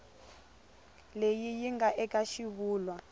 leyi yi nga eka xivulwa